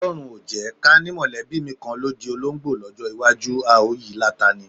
O̩ló̩run o jé̩! Ká ní mò̩lé̩bí mi kan ló di olóńgbò ló̩jó̩ iwájú, a ó yi láta ni.